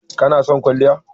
Kana son kwalliya?